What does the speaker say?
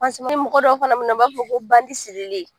ni mɔgɔ dɔw fana bɛ na u b'a fɔ ko bandi sirilen